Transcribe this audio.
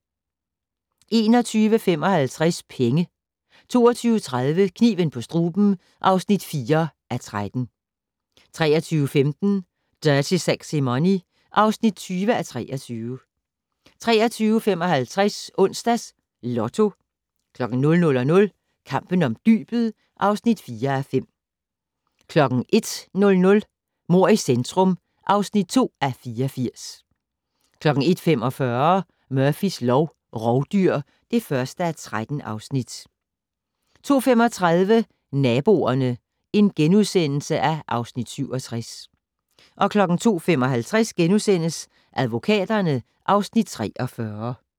21:55: Penge 22:30: Kniven på struben (4:13) 23:15: Dirty Sexy Money (20:23) 23:55: Onsdags Lotto 00:00: Kampen om dybet (4:5) 01:00: Mord i centrum (2:84) 01:45: Murphys lov: Rovdyr (1:3) 02:35: Naboerne (Afs. 67)* 02:55: Advokaterne (Afs. 43)*